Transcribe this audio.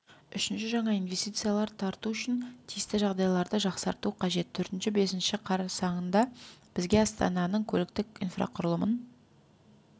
үшінші жаңа инвестициялар тарту үшін тиісті жағдайларды жақсарту қажет төртінші бесінші қарсаңында бізге астананың көліктік инфрақұрылымын